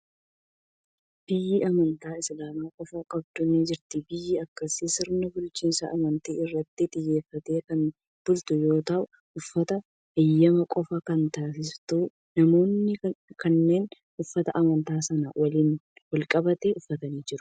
Biyyi amantaa Islaamaa qofa qabdu ni jirti. Biyyi akkasii sirna bulchiinsa amantii irratti xiyyeeffateen kan bultu yoo ta'u, uffata eeyyame qofaa kan taasistudha. Namoonni kunneen uffata amantaa isaanii waliin wal qabate uffatanii jiru.